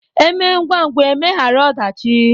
E mee ngwangwa e megharịa ọdachi